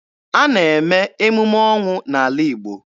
A na-eme emume ọnwụ n'ala Igbo.